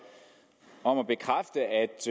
om at bekræfte at